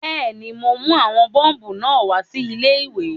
Bẹ́ẹ̀ni, mo mú àwọn bọ́ọ̀bù náà wá sí ilé-ìwé